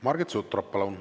Margit Sutrop, palun!